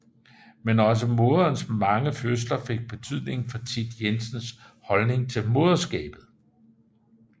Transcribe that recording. Men også moderens mange fødsler fik betydning for Thit Jensens holdning til moderskabet